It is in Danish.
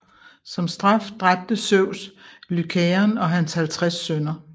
Som straf dræbte Zeus Lycaon og hans halvtreds sønner